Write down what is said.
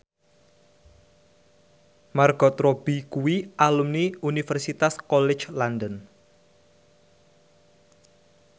Margot Robbie kuwi alumni Universitas College London